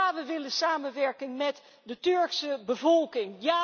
En ja, we willen samenwerken met de Turkse bevolking.